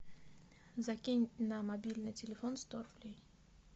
закинь на мобильный телефон сто рублей